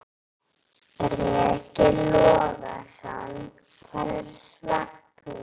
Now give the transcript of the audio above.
Breki Logason: Hvers vegna?